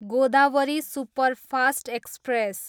Godavari superfast express